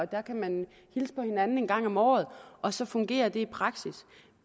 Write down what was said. der kan man hilse på hinanden en gang om året og så fungerer det i praksis